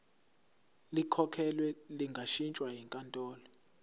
likhokhelwe lingashintshwa yinkantolo